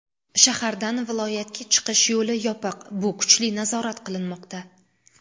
Shahardan viloyatga chiqish yo‘li yopiq, bu kuchli nazorat qilinmoqda.